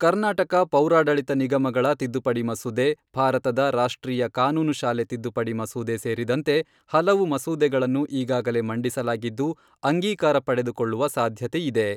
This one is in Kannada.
ಕರ್ನಾಟಕ ಪೌರಾಡಳಿತ ನಿಗಮಗಳ ತಿದ್ದುಪಡಿ ಮಸೂದೆ, ಭಾರತದ ರಾಷ್ಟ್ರೀಯ ಕಾನೂನು ಶಾಲೆ ತಿದ್ದುಪಡಿ ಮಸೂದೆ ಸೇರಿದಂತೆ ಹಲವು ಮಸೂದೆಗಳನ್ನು ಈಗಾಗಲೇ ಮಂಡಿಸಲಾಗಿದ್ದು, ಅಂಗೀಕಾರ ಪಡೆದುಕೊಳ್ಳುವ ಸಾಧ್ಯತೆ ಇದೆ.